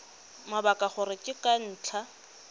mabaka gore ke ka ntlha